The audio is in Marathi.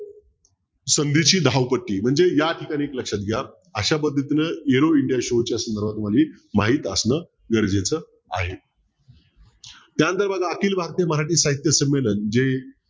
संधीची धावपटी म्हणजे या ठिकाणी एक लक्षात घ्या अशा पद्धतीनं च्या संदर्भामध्ये माहीत असणं गरजेचं आहे त्यांनतर बघा अखिल भारतीय मराठी साहित्य संमेलन जे